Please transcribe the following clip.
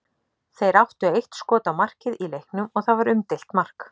Þeir áttu eitt skot á markið í leiknum og það var umdeilt mark.